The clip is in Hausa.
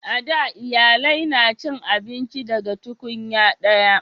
a da iyalai na cin abinci daga tunkunya daya